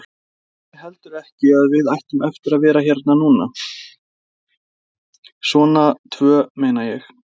Vissi heldur ekki að við ættum eftir að vera hérna núna. svona tvö, meina ég.